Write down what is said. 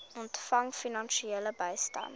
ontvang finansiële bystand